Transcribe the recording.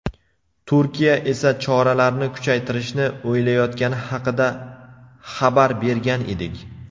Turkiya esa choralarni kuchaytirishni o‘ylayotgani haqida xabar bergan edik.